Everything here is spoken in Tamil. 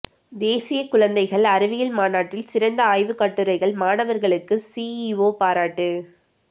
தேசிய குழந்தைகள் அறிவியல் மாநாட்டில் சிறந்த ஆய்வு கட்டுரைகள் மாணவர்களுக்கு சிஇஓ பாராட்டு